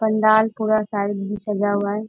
पंडाल पूरा साइड भी सजा हुआ है।